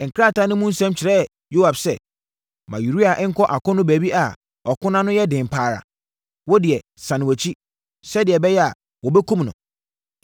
Krataa no mu nsɛm kyerɛɛ Yoab sɛ, “Ma Uria nkɔ akono baabi a ɔko no ano yɛ den pa ara. Wo deɛ, sane wʼakyi, sɛdeɛ ɛbɛyɛ a, wɔbɛkum no.”